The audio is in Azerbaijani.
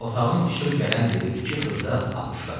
Otağın işıq gələn yeri iki xırda akuşkadır.